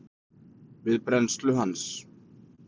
við brennslu hans.